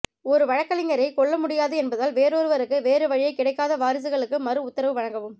ஒரு வழக்கறிஞரைக் கொள்ள முடியாது என்பதால் வேறொருவருக்கு வேறு வழியைக் கிடைக்காத வாரிசுகளுக்கு மறு உத்தரவு வழங்கவும்